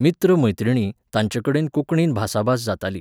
मित्र मैत्रिणी, तांचेकडेन कोंकणीन भासाभास जाताली.